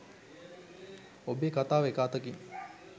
ඔබේ කතාව එක අතකින්